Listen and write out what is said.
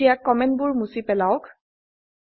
এতিয়া কমেন্টবোৰ মুছি পেলাওক